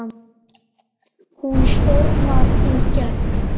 Hún stormar í gegn